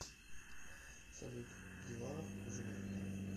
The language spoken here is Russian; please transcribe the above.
салют дела хуже некуда